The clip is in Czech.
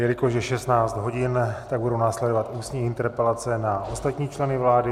Jelikož je 16 hodin, tak budou následovat ústní interpelace na ostatní členy vlády.